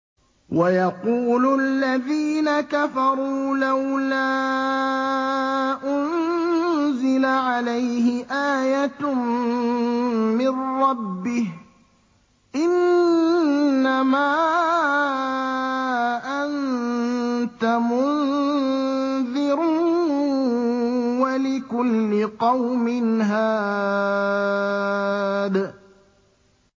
وَيَقُولُ الَّذِينَ كَفَرُوا لَوْلَا أُنزِلَ عَلَيْهِ آيَةٌ مِّن رَّبِّهِ ۗ إِنَّمَا أَنتَ مُنذِرٌ ۖ وَلِكُلِّ قَوْمٍ هَادٍ